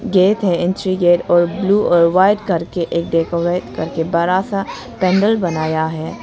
Gate है entry gate और blue और वाइट करके एक डेकोरेट करके बड़ा सा पेंडल बनाया है।